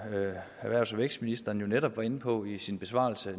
erhvervs og vækstministeren netop var inde på i sin besvarelse